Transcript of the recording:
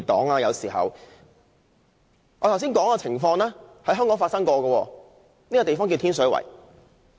我剛才說的情況，在香港確曾出現，而這個地方便是天水圍。